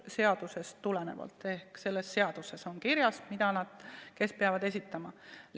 Seaduses on kirjas, mida ja kes peavad esitama.